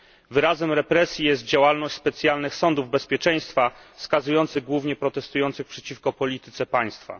Wyrazem represji jest działalność specjalnych sądów bezpieczeństwa skazujących głównie protestujących przeciwko polityce państwa.